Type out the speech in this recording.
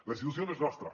la institució no és nostra